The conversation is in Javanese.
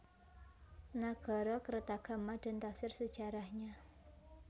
Nagarakretagama dan Tafsir Sejarahnya